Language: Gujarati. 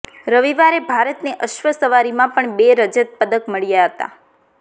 રવિવારે ભારતને અશ્વ સવારીમાં પણ બે રજત પદક મળ્યા હતા